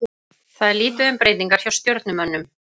Það er lítið um breytingar hjá Stjörnumönnum.